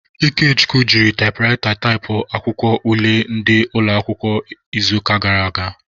Ikechukwu jiri taịpụraịta were taịpụọ akwụkwọ ule ndị ụlọakwụkwọ n'izuụka gara aga.